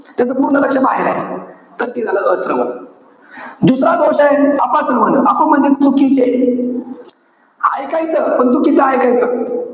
त्याच पूर्ण लक्ष बाहेर आहे. तर ते झालं अश्रवण. दुसरा दोष आहे, अपश्रवण. अप म्हणजे चुकीचे. ऐकायचं पण चुकीचं ऐकायचं.